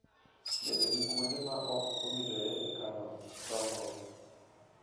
Bedo gi kuonde ma ok owinjore e kano tong'go.